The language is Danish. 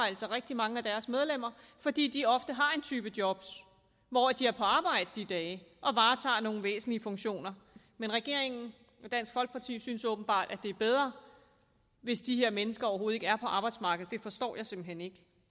rigtig mange af deres medlemmer fordi de ofte har en type job hvor de er på arbejde de dage og varetager nogle væsentlige funktioner men regeringen og dansk folkeparti synes åbenbart at det er bedre hvis de her mennesker overhovedet ikke er på arbejdsmarkedet det forstår jeg simpelt hen ikke